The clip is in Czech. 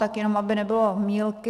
Tak jenom aby nebylo mýlky.